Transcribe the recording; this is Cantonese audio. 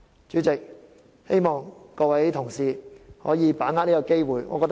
主席，希望各位同事可以把握機會。